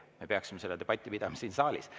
Me peaksime selle debati pidama siin saalis.